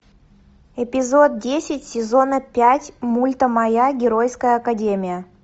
эпизод десять сезона пять мульта моя геройская академия